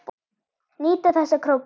Nýta þessa króka.